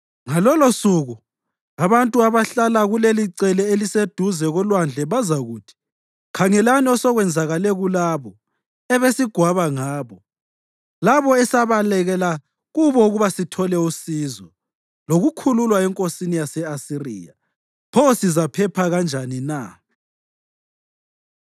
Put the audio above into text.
Ngalolosuku abantu abahlala kulelicele eliseduze kolwandle bazakuthi, ‘Khangelani osokwenzakale kulabo ebesigwaba ngabo, labo esabalekela kubo ukuba sithole usizo lokukhululwa enkosini yase-Asiriya! Pho sizaphepha kanjani na?’ ”